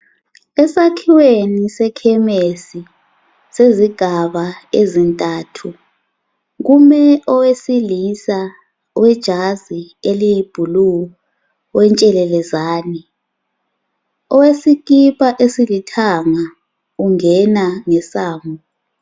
Esakhiweni sekhemisi sezigaba ezintathu kume owesilisa kume owesilisa owejazi eliyibhlu, owentshelelezane owesikipa esilithanga ungena ngesango